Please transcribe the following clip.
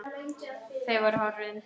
Þau voru horfin.